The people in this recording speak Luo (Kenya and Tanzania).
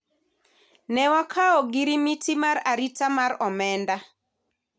ne wakawo ogirimiti mar arita mar omenda